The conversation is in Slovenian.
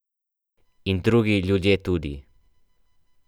In drugi ljudje tudi.